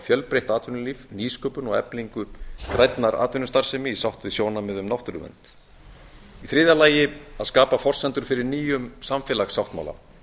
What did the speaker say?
fjölbreytt atvinnulíf nýsköpun og eflingu grænnar atvinnustarfsemi í sátt við sjónarmið um náttúruvernd í þriðja lagi að skapa forsendur fyrir nýjum samfélagssáttmála